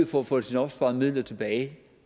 for at få sine opsparede midler tilbage